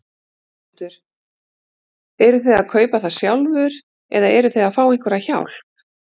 Þórhildur: Eruð þið að kaupa það sjálfur eða eruð þið að fá einhverja hjálp?